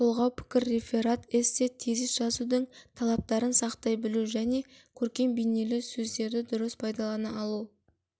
толғау пікір реферат эссе тезис жазудың талаптарын сақтай білу және көркем-бейнелі сөздерді дұрыс пайдалана алу